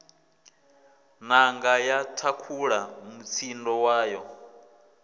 nanga ya thakhula mutsindo wayo